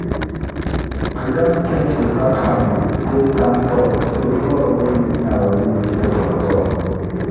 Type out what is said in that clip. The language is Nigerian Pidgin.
we don change to sack farming wey stand tall so flood no fit near our leaf vegetable at all.